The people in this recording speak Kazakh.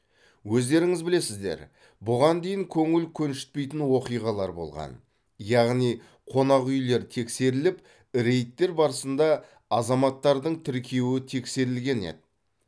өздеріңіз білесіздер бұған дейін көңіл көншітпейтін оқиғалар болған яғни қонақүйлер тексеріліп рейдтер барысында азаматтардың тіркеуі тексерілген еді